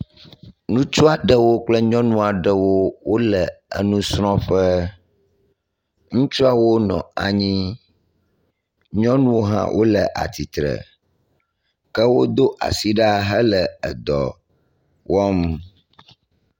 Ŋutsu aɖewo kple nyɔnu aɖewo wo le enusrɔ̃ƒe. Ŋutsuawo nɔ anyi. Nyɔnuwo hã wo le atsitre ke wodo asi ɖa hele edɔ wɔm.